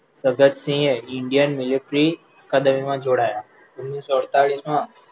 ભગતસિંહે Indian military ના દળ માં ઓગણીસો અડતાલીસ મા